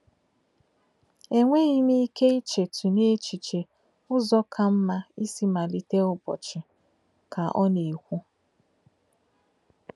E nweghi m ike ichetụ n’echiche ụzọ ka mma isi malite ụbọchị, ” ka ọ na-ekwu.